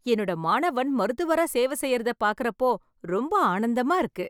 எண்ணோட மாணவன் மருத்துவரா சேவை செய்யிறத பார்க்கிற அப்போ ரொம்ப ஆனந்தமா இருக்கு